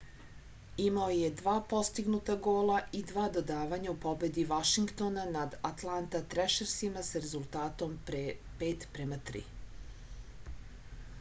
imao je 2 postignuta gola i 2 dodavanja u pobedi vašingtona nad altanta trešersima sa rezultatom 5:3